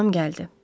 Anam gəldi.